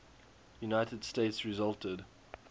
united states resulted